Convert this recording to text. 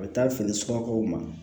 A bɛ taa fini sumakaw ma